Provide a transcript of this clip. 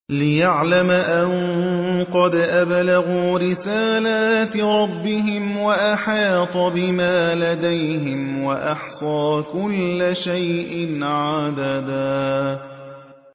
لِّيَعْلَمَ أَن قَدْ أَبْلَغُوا رِسَالَاتِ رَبِّهِمْ وَأَحَاطَ بِمَا لَدَيْهِمْ وَأَحْصَىٰ كُلَّ شَيْءٍ عَدَدًا